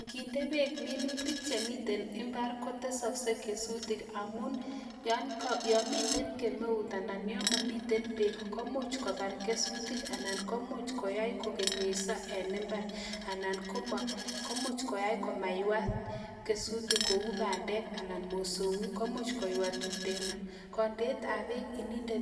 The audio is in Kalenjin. Nginde peek minutik yamiteeei imbar kotesaksei kesutik amun yakakinde